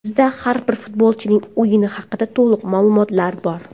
Bizda har bir futbolchining o‘yini haqida to‘liq ma’lumotlar bor.